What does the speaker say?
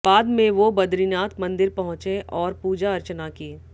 बाद में वो बदरीनाथ मंदिर पहुंचे और पूजा अर्चना की